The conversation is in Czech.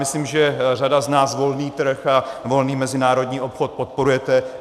Myslím, že řada z nás volný trh a volný mezinárodní obchod podporujeme.